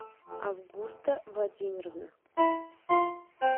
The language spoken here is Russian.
августа владимировна